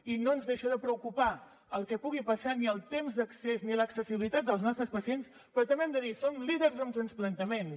i no ens deixa de preocupar el que pugui passar ni el temps d’accés ni l’accessibilitat dels nostres pacients però també hem de dir som líders en transplantaments